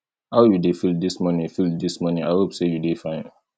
how you dey feel dis morning feel dis morning i hope sey you dey fine